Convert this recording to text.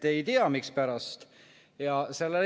Ei tea, mispärast.